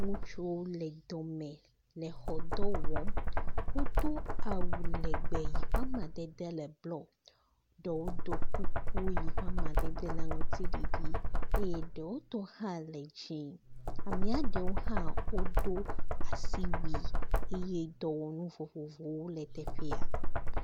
Ŋutsuwo le dɔme le xɔ dɔ wɔm. Wodo awu legbe yi ƒe amadede le blɔ. Ɖewo ɖɔ kuku yi ƒe amadede le aŋtsiɖiɖi eye ɖewo tɔ hã le dzĩ. Amee ɖe hã wodo asiwui eye dɔwɔnu vovovowo le teƒea.